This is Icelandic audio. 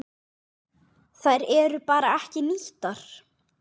Þær eru bara ekki nýttar.